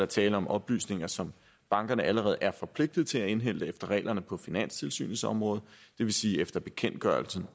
tale om oplysninger som bankerne allerede er forpligtet til at indhente efter reglerne på finanstilsynets område det vil sige efter bekendtgørelsen